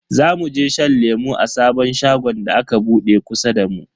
Zamu je shan lemu a sabon shagon da aka bude kusa da mu.